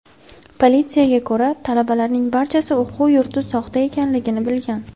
Politsiyaga ko‘ra, talabalarning barchasi o‘quv yurti soxta ekanligini bilgan.